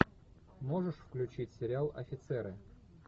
можешь включить сериал офицеры